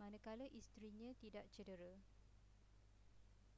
manakala isterinya tidak cedera